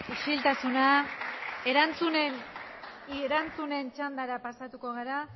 isiltasuna erantzunen txandara pasatuko gara